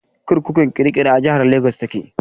Kurkukun kirikiri a jihar Lagos ta ke.